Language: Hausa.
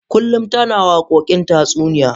Kullun tana waƙokin tatsuniya.